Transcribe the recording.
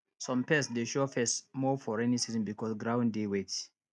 some pest dey show face more for rainy season because ground dey wet